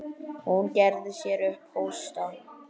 Hún gerði sér upp hósta.